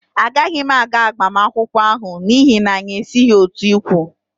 Agaghị m aga agbamakwụkwọ ahụ, n'ihi na anyị esighị otu ikwu